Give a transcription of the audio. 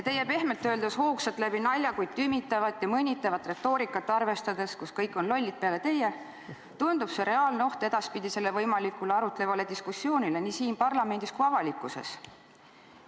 Teie pehmelt öeldes hoogsat läbi nalja, kuid tümitavat ja mõnitavat retoorikat arvestades – kõik peale teie on lollid – tundub see olevat reaalne oht edaspidisele võimalikule arutlevale diskussioonile nii siin parlamendis kui ka avalikkuses.